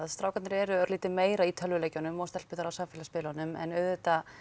strákarnir eru örlítið meira í tölvuleikjunum og stelpurnar á samfélagsmiðlunum en auðvitað